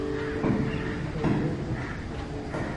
Waa muhiim in pollination ee dhirta.